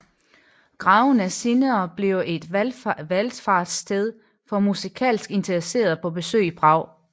Graven er senere blevet et valfartssted for musikalsk interesserede på besøg i Prag